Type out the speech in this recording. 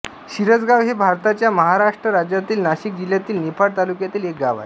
शिरसगाव हे भारताच्या महाराष्ट्र राज्यातील नाशिक जिल्ह्यातील निफाड तालुक्यातील एक गाव आहे